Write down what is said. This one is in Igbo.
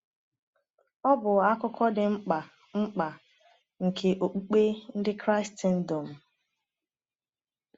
Ọ bụ akụkụ dị mkpa mkpa nke okpukpe ndị Kraịstndọm.